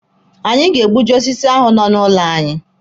Anyị ga-egbuji osisi ahụ nọ n'ụlọ anyị.